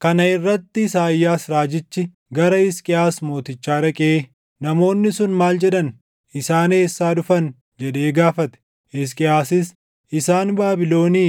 Kana irratti Isaayyaas raajichi gara Hisqiyaas mootichaa dhaqee, “Namoonni sun maal jedhan? Isaan eessaa dhufan?” jedhee gaafate. Hisqiyaasis, “Isaan Baabilonii